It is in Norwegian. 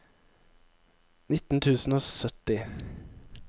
nitten tusen og sytti